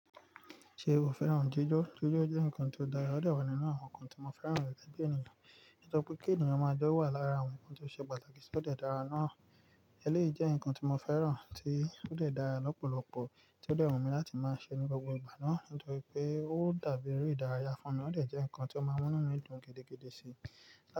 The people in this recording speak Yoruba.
Ṣe o fẹ́ràn jíjó? Jíjó jẹ́ nǹkan tó dára, ó dà ọ́ nínú àwọn nǹkan tí mo fẹ́ràn rẹ̀ gẹ̀gẹ́ ènìyàn. Ó tọ pé kí ènìyàn máa jọ́ wà lára àwọn nǹkan tó ṣe pàtàkì kí ó lè dára náà. Eléyìí jẹ́ nǹkan tí mo fẹ́ràn tí ó dè dára lọ́pọ̀lọpọ̀ tí ó dewunmi láti máa ṣe ní gbogbo ìgbà náà nítorí pé ó dàbí eré ìdárayá fún mi, ó dè jẹ́ nǹkan tí ó máa n múnú mí dùn gidigidi síi.